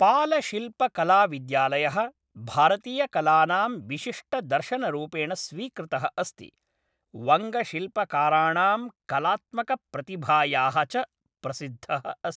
पालशिल्पकलाविद्यालयः, भारतीयकलानां विशिष्टदर्शनरूपेण स्वीकृतः अस्ति, वङ्गशिल्पकाराणां कलात्मकप्रतिभायाः च प्रसिद्धः अस्ति।